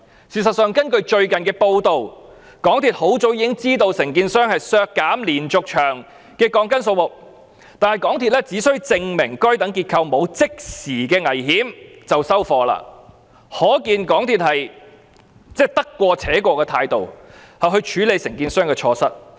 事實上，根據最近的報道，港鐵公司很早已經知道承建商削減連續牆的鋼筋數目，但港鐵公司只需承建商證明該等結構沒有即時危險便算，可見港鐵公司以得過且過的態度處理承建商的錯失。